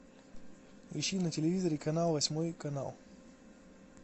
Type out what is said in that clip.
ищи на телевизоре канал восьмой канал